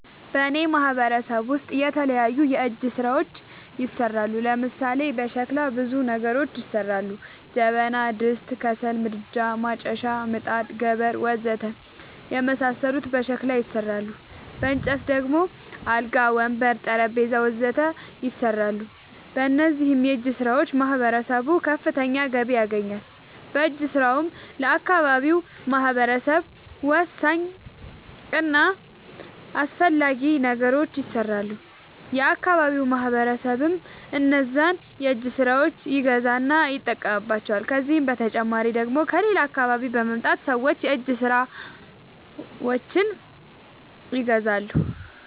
በእኔ ማህበረሰብ ውስጥ የተለያዩ የእጅ ስራዎች ይሠራሉ። ለምሳሌ፦ በሸክላ ብዙ ነገሮች ይሠራሉ። ጀበና፣ ድስት፣ ከሰል ምድጃ፣ ማጨሻ፣ ምጣድ፣ ገበር... ወዘተ የመሣሠሉት በሸክላ ይሠራሉ። በእንጨት ደግሞ አልጋ፣ ወንበር፣ ጠረንጴዛ..... ወዘተ ይሠራሉ። በእነዚህም የእጅስራዎች ማህበረሰቡ ከፍተኛ ገቢ ያገኛል። በእጅ ስራውም ለአካባቢው ማህበረሰብ ወሳኝ እና አስፈላጊ ነገሮች ይሠራሉ። የአካባቢው ማህበረሰብም እነዛን የእጅ ስራዎች ይገዛና ይጠቀምባቸዋል። ከዚህ በተጨማሪ ደግሞ ከሌላ አካባቢ በመምጣት ሠዎች የእጅ ስራዎቸችን ይገዛሉ።